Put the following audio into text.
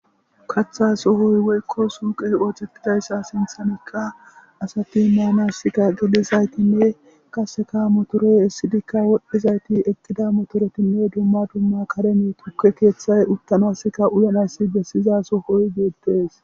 Kaththa sohoy woykko suyiqe othetizayssa sinttaniqa asati manasi gelizayitine qasseka motore esidika wol'izayti eqidda motoretine duma duma karen tukke keththa uttanasika uyanasika bessiza sohoy bettes.